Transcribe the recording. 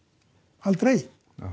aldrei